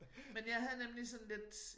Men jeg havde nemlig sådan lidt